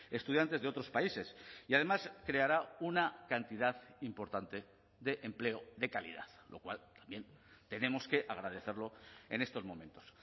estudiantes de otros países y además creará una cantidad importante de empleo de calidad lo cual también tenemos que agradecerlo en estos momentos